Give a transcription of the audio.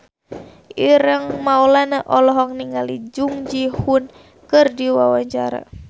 Ireng Maulana olohok ningali Jung Ji Hoon keur diwawancara